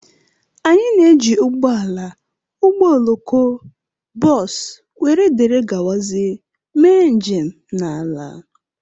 Anyị na-eji ụgbọ ala, ụgbọ oloko, bọs, wdg mee njem n'ala.